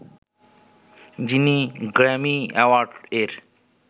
যিনি Grammy award এর